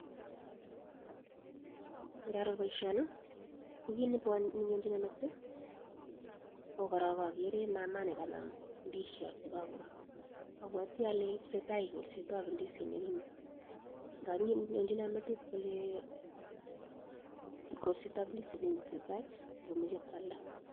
Ngaro baishani kokit, nenyonchina metit kokor akere mama nikamanm ndishiot nekakurur abwate ale tesetai kolset ab ndisinik en yu nga nyonchina metit kole kolset ab ndisinik netesetai akomeche pkoalda.